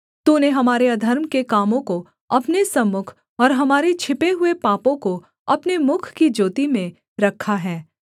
तूने हमारे अधर्म के कामों को अपने सम्मुख और हमारे छिपे हुए पापों को अपने मुख की ज्योति में रखा है